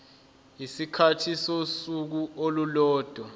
isikhathi sosuku olulodwa